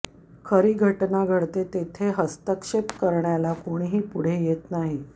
खरी घटना घडते तिथे हस्तक्षेप करण्याला कोणीही पुढे येत नाही